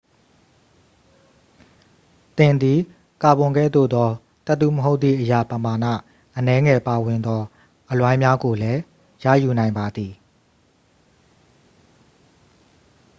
သင်သည် ကာဗွန်ကဲ့သို့သော သတ္တုမဟုတ်သည့်အရာ ပမာဏအနည်းငယ်ပါဝင်သောအလွိုင်းများကိုလည်း ရယူနိုင်ပါသည်